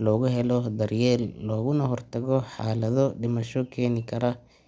looguhelo daryeel looguna hortago xaaladho dimasho keeni kara.